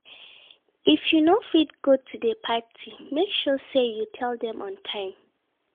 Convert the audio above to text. If you no fit go to di party make sure say you tell dem on time